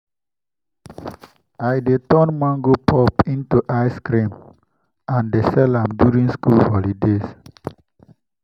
i dey turn mango pulp into ice cream and dey sell am during school holidays.